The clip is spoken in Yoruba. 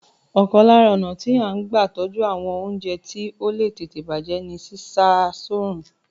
Ọ̀kan lára ọnà tí a n gba tọ́jú àwọn oúnjẹ tí ó le tètè bàjé ní sísá a ní òrùn